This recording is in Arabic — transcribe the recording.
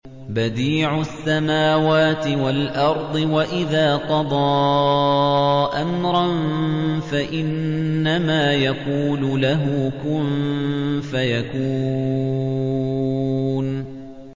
بَدِيعُ السَّمَاوَاتِ وَالْأَرْضِ ۖ وَإِذَا قَضَىٰ أَمْرًا فَإِنَّمَا يَقُولُ لَهُ كُن فَيَكُونُ